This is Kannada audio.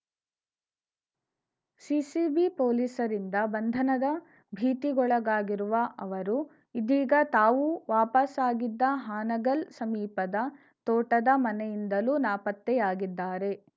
ಸಿಸಿಬಿ ಪೊಲೀಸರಿಂದ ಬಂಧನದ ಭೀತಿಗೊಳಗಾಗಿರುವ ಅವರು ಇದೀಗ ತಾವು ವಾಪಸ್ಸಾಗಿದ್ದ ಹಾನಗಲ್‌ ಸಮೀಪದ ತೋಟದ ಮನೆಯಿಂದಲೂ ನಾಪತ್ತೆಯಾಗಿದ್ದಾರೆ